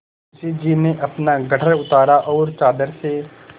मुंशी जी ने अपना गट्ठर उतारा और चादर से